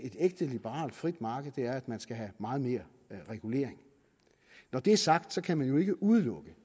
ægte liberalt frit marked er at man skal have meget mere regulering når det er sagt kan man jo ikke udelukke